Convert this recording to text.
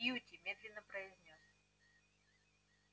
кьюти медленно произнёс